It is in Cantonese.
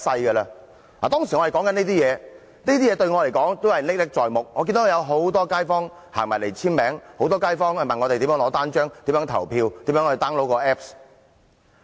我們當時說的話、做的事，對我來說都仍歷歷在目，我記得有很多街坊走來簽署，很多街坊向我們索取單張，詢問如何投票和 download apps。